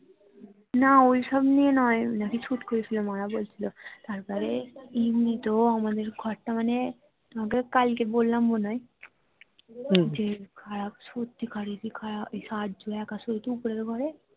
না ওই সব নিয়ে নয় ওই নাকি ছুট করিয়েছিলো মা রা বলছিলো তারপরে ইনি তো আমাদের ঘর টা মানে তোমাকে কালকে বললাম মনে হয় যে খারাপ সত্যিই কারের কি খারাপ সায়াজ্জু একা শোয় তো ওপরের ঘরে